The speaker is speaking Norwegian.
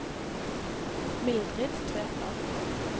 Mildrid Tveter